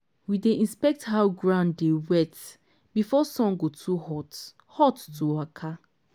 we dey inspect how ground dey wet before sun go too hot hot to waka.